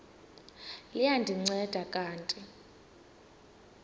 liya ndinceda kanti